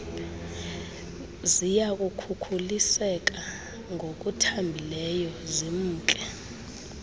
ziyakhukuliseka ngokuthambileyo zimke